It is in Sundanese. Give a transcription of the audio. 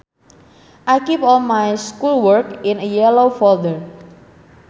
I keep all my schoolwork in a yellow folder